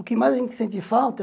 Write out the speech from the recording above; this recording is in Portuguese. O que mais a gente sente falta...